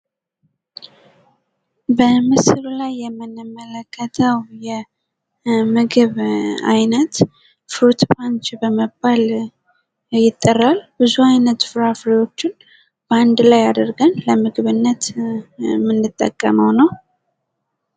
በምስሉ ላይ የምንመለከተው የምግብ አይነት ፍሩትመንች በመባል ይጠራል። ብዙ አይነት ፍራፍሬዎችን አንድ ላይ አድርገን የምንጠቀመው ነው።